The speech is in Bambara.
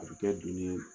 A bɛ kɛ dunni ye